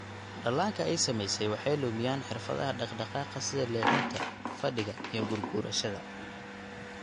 Dhallaanka ay saamaysay waxay lumiyaan xirfadaha dhaqdhaqaaqa sida leexinta, fadhiga, iyo gurguurashada.